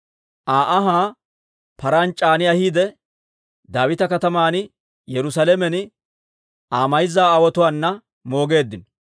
Aa anhaa paraan c'aani ahiide, Daawita Kataman Yerusaalamen Aa mayza aawotuwaana moogeeddino.